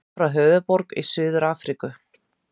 Frá Höfðaborg í Suður-Afríku.